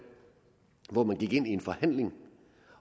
hvor man gik ind i en forhandling